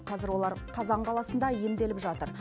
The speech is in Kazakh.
қазір олар қазан қаласында емделіп жатыр